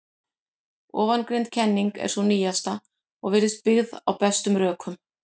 Ofangreind kenning er sú nýjasta og virðist byggð á bestum rökum.